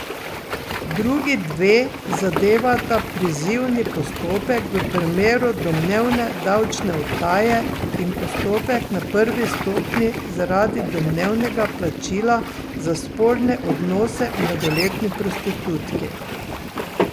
Drugi dve zadevata prizivni postopek v primeru domnevne davčne utaje in postopek na prvi stopnji zaradi domnevnega plačila za spolne odnose mladoletni prostitutki.